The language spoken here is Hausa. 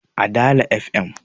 a Dala fm